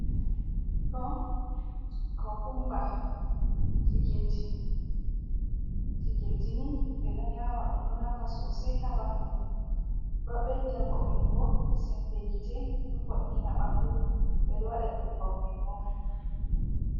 Ɗo, cocumber, chikilje. Chikilje ni ɓeɗo nyama ɗum, ɗo nafa sosai haa bandu, ɗo bedda vo'ungo sembe gite, ɗo vo’ina bandu, ɓeɗo waɗa nyebbam mai bo.